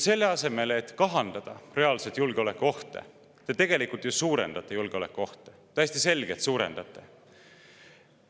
Selle asemel, et kahandada reaalseid julgeolekuohte, te tegelikult ju suurendate julgeolekuohte – täiesti selgelt suurendate!